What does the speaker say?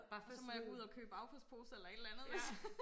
Og så må jeg gå ud og købe affaldsposer eller et eller andet